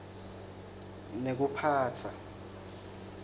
nekuphatsa